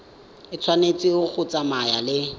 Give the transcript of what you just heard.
e tshwanetse go tsamaya le